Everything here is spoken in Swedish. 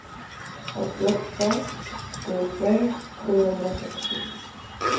åttioåtta tusen sjuhundrasextio